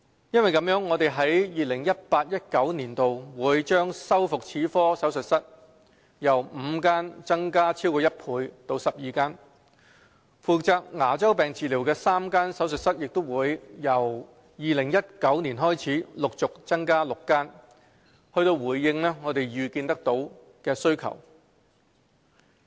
有見及此，我們在 2018-2019 年度會將修復齒科手術室由5間增加超過1倍至12間，負責牙周病治療的3間手術室也將由2019年開始陸續增加至6間，以回應可預見的需求。